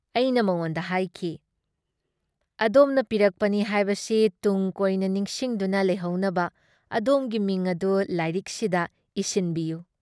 ꯑꯩꯅ ꯃꯉꯣꯟꯗ ꯍꯥꯏꯈꯤ- ꯑꯗꯣꯝꯅ ꯄꯤꯔꯛꯄꯅꯤ ꯍꯥꯏꯕꯁꯤ ꯇꯨꯡꯀꯣꯏꯅ ꯅꯤꯡꯁꯤꯡꯗꯨꯅ ꯂꯩꯍꯧꯅꯕ ꯑꯗꯣꯝꯒꯤ ꯃꯤꯡ ꯑꯗꯨ ꯂꯥꯏꯔꯤꯛꯁꯤꯗ ꯏꯁꯤꯟꯕꯤꯌꯨ ꯫"